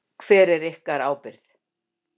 Hver er ykkar ábyrgð?